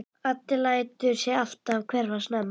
Addi lætur sig alltaf hverfa snemma.